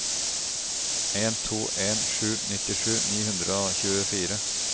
en to en sju nittisju ni hundre og tjuefire